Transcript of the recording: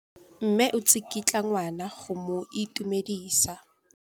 Mme o tsikitla ngwana go mo itumedisa.